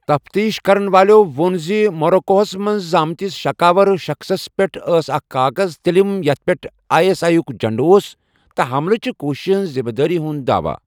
تفتیٖش کَرن والیو ووٚن زِ موٚروکو ہَس منٛز زامتِس شک آور شخصس پیٹھ ٲس اکھ کاغذ تلِم یتھ پیٚٹھ آے ایس آے یُک جنٛڈٕ اوس، تہٕ حملہٕ چہِ کوٗشِشہِ ہِنٛزِ ذِمدٲری ہُنٛد دعواہ۔